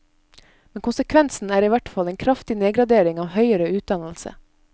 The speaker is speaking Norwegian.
Men konsekvensen er i hvert fall en kraftig nedgradering av høyere utdannelse.